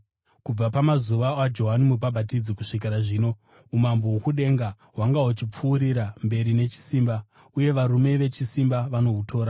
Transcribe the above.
Kubva pamazuva aJohani Mubhabhatidzi kusvikira zvino, umambo hwokudenga hwanga huchipfuurira mberi nechisimba, uye varume vechisimba vanohutora.